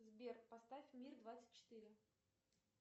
сбер поставь мир двадцать четыре